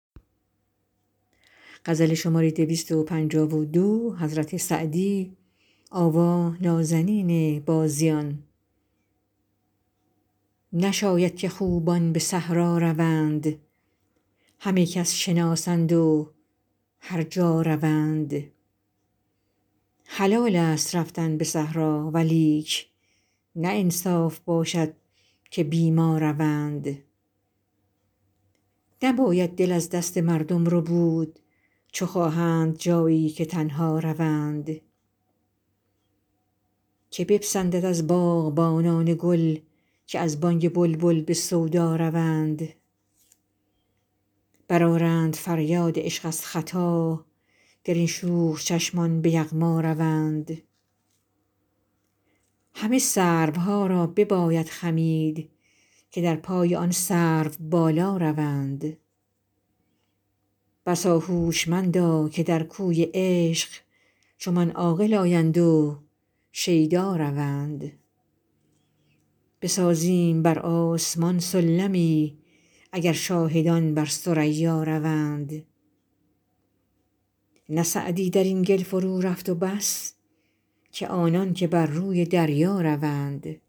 نشاید که خوبان به صحرا روند همه کس شناسند و هر جا روند حلالست رفتن به صحرا ولیک نه انصاف باشد که بی ما روند نباید دل از دست مردم ربود چو خواهند جایی که تنها روند که بپسندد از باغبانان گل که از بانگ بلبل به سودا روند برآرند فریاد عشق از ختا گر این شوخ چشمان به یغما روند همه سروها را بباید خمید که در پای آن سروبالا روند بسا هوشمندا که در کوی عشق چو من عاقل آیند و شیدا روند بسازیم بر آسمان سلمی اگر شاهدان بر ثریا روند نه سعدی در این گل فرورفت و بس که آنان که بر روی دریا روند